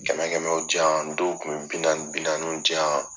Kɛmɛ kɛmɛ diyan, dɔw kun bɛ bi naani bi naaniw diyan